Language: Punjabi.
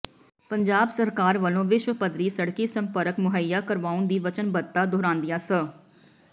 ਪੰਜਾਬ ਸਰਕਾਰ ਵਲੋਂ ਵਿਸ਼ਵ ਪੱਧਰੀ ਸੜਕੀ ਸੰਪਰਕ ਮੁਹੱਈਆ ਕਰਵਾਉਣ ਦੀ ਵਚਨਬੱਧਤਾ ਦੁਹਰਾਉਂਦਿਆਂ ਸ